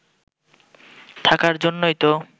থাকার জন্যই তো